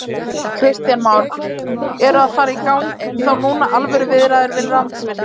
Kristján Már: Eru að fara í gang þá núna alvöru viðræður við Landsvirkjun?